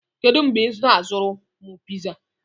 Kedu mgbe ị na-azụrụ m piza?